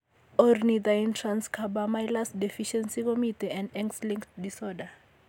Ornithine transcarbamylase deficiencyKomiten en X linked disorder.